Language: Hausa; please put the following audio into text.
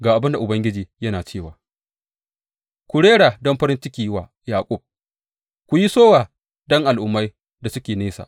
Ga abin da Ubangiji yana cewa, Ku rera don farin ciki wa Yaƙub; ku yi sowa don al’ummai da suke nesa.